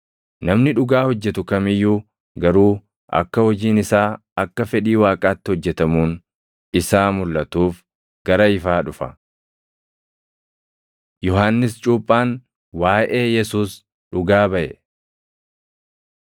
Namni dhugaa hojjetu kam iyyuu garuu akka hojiin isaa akka fedhii Waaqaatti hojjetamuun isaa mulʼatuuf gara ifaa dhufa. Yohannis Cuuphaan Waaʼee Yesuus Dhugaa Baʼe